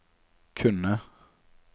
kunne